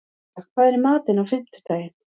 Ylfa, hvað er í matinn á fimmtudaginn?